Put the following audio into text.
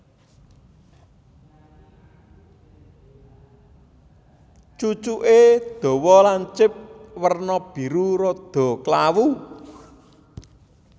Cucuké dawa lancip werna biru rada klawu